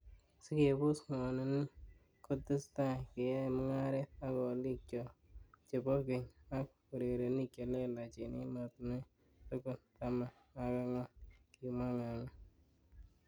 'Sikebos ngwonini, ketesetai keyoe mungaret ak olik chok chebo keny, ak urerenik che lelach en emetinwek tugul taman ak angwan,''kimwa Ng'ang'a